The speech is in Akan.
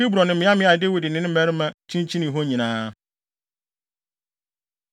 Hebron ne mmeaemmeae a Dawid ne ne mmarima kyinkyinii hɔ nyinaa.